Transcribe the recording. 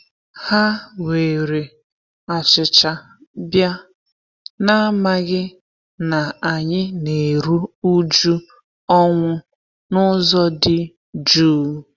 Ha were achicha bia, n'amaghị na anyị na-eru uju ọnwụ n'ụzọ dị juu.